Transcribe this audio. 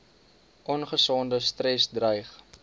ongesonde stres dreig